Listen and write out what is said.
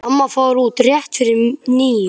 Amma fór út rétt fyrir níu.